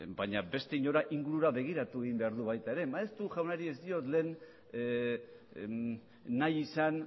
baina beste inora ingurura begiratu egin behar du baita ere maeztu jaunari ez diot lehen nahi izan